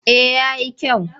Eh ya yi kyau.